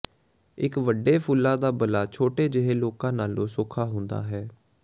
ਇੱਕ ਵੱਡੇ ਫੁੱਲਾਂ ਦਾ ਬੱਲਾ ਕੁਝ ਛੋਟੇ ਜਿਹੇ ਲੋਕਾਂ ਨਾਲੋਂ ਸੌਖਾ ਹੁੰਦਾ ਹੈ